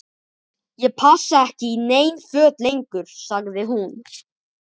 Ég passa ekki í nein föt lengur- sagði hún.